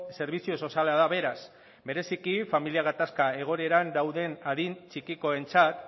zerbitzu soziala da beraz bereziki familia gatazka egoeran dauden adin txikikoentzat